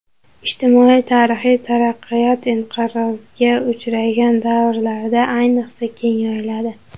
Ijtimoiy-tarixiy taraqqiyot inqirozga uchragan davrlarda, ayniqsa, keng yoyiladi.